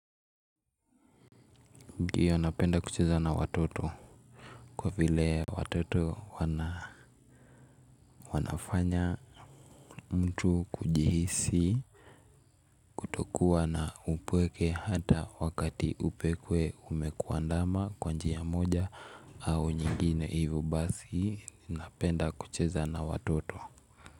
Ndiyo, napenda kucheza na watoto kwa vile watoto wanafanya mtu kujihisi kutokuwa na upweke hata wakati upweke umekuandama kwanji ya moja au nyingine hivyo basi napenda kucheza na watoto.